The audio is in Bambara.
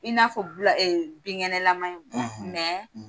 I n'a fɔ bula , ,binkɛnɛlama ye, , mɛ